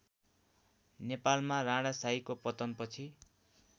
नेपालमा राणाशाहीको पतनपछि